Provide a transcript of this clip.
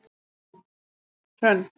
Hrönn